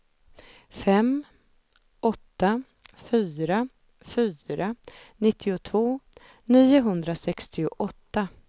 fem åtta fyra fyra nittiotvå niohundrasextioåtta